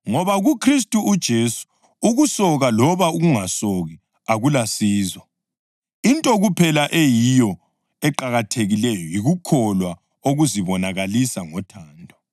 Ngoba kuKhristu uJesu ukusoka loba ukungasoki akulasizo. Into kuphela eyiyo eqakathekileyo yikukholwa okuzibonakalisa ngothando.